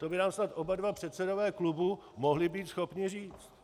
To by nám snad oba dva předsedové klubů mohli být schopni říct.